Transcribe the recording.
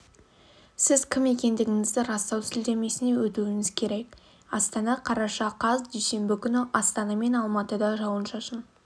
сіз кім екендігіңізді растау сілтемесіне өтуіңіз керек астана қараша қаз дүйсенбі күні астана мен алматыда жауын-шашын